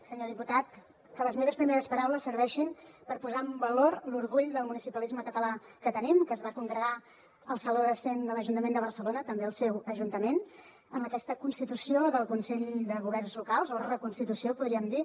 senyor diputat que les meves primeres paraules serveixin per posar en valor l’orgull del municipalisme català que tenim que es va congregar al saló de cent de l’ajuntament de barcelona també al seu ajuntament en aquesta constitució del consell de governs locals o reconstitució en podríem dir